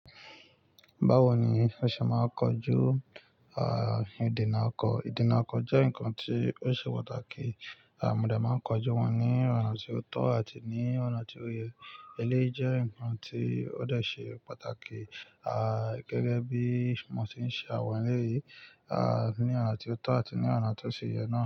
Báwo ni wọ́n ṣe máa ń kojú, ìdènà ọkọ̀? Ìdènà ọkọ̀ jẹ́ nǹkan tí ó ṣe pàtàkì. Mo dẹ̀ máa ń kojú wọn ní ọ̀nà tí ó tọ́ àti ní ọ̀nà tí ó yẹ. Elé jẹ́ nǹkan tí ó dẹ̀ ṣe pàtàkì, gẹ́gẹ́ bí mo ṣe ń ṣe àwọn eléyìí, ní ọ̀nà tí ó tọ́ àti ní ọ̀nà tó sì yẹ náà.